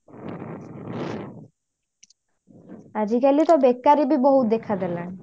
ଆଜିକାଲି ତ ବେକାରି ବି ବହୁତ ଦେଖା ଦେଲାଣି